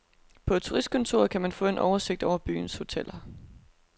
På turistkontoret kan man få en oversigt over byens hoteller.